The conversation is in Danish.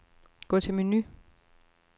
Gå til menu.